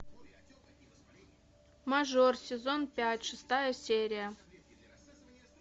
мажор сезон пять шестая серия